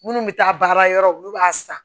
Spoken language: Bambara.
Minnu bɛ taa baara yɔrɔ olu b'a san